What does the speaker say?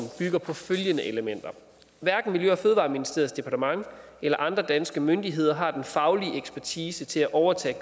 bygger på følgende elementer hverken miljø og fødevareministeriets departement eller andre danske myndigheder har den faglige ekspertise til at overtage